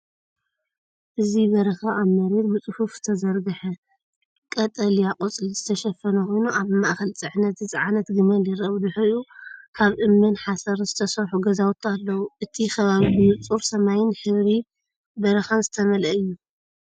እዚ በረኻ ኣብ መሬት ብጽፉፍ ዝተዘርግሐ ቀጠልያ ቆጽሊ ዝተሸፈነ ኮይኑ፡ ኣብ ማእከል ጽዕነት ዝጸዓነት ገመል ይርአ። ብድሕሪኡ ካብ እምንን ሓሰርን ዝተሰርሑ ገዛውቲ ኣለዉ፤ እቲ ከባቢ ብንጹር ሰማይን ሕብሪ በረኻን ዝተመልአ እዩ።